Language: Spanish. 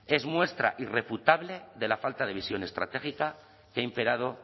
es muestra irrefutable de la falta de visión estratégica que ha imperado